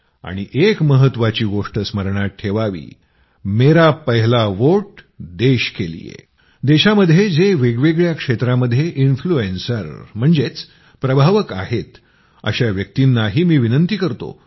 आणि एक महत्वाची गोष्ट स्मरणात ठेवावी मेरा पहला वोट देश के लिए देशामध्ये जे वेगवेगळ्या क्षेत्रामध्ये इन्फ्लूएन्सर म्हणजेच प्रभावक आहेत अशा व्यक्तींनाही मी विनंती करतो